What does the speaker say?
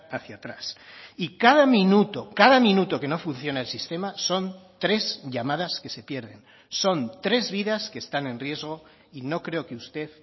hacia atrás y cada minuto cada minuto que no funciona el sistema son tres llamadas que se pierden son tres vidas que están en riesgo y no creo que usted